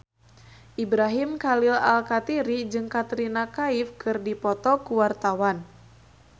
Ibrahim Khalil Alkatiri jeung Katrina Kaif keur dipoto ku wartawan